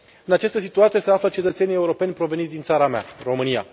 În această situație se află cetățenii europeni proveniți din țara mea, România.